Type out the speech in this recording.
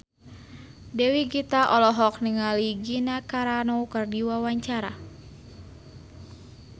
Dewi Gita olohok ningali Gina Carano keur diwawancara